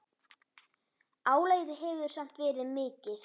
Álagið hefur samt verið mikið.